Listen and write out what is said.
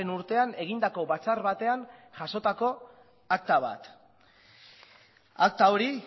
urtean egindako batzar batean jasotako akta bat akta hori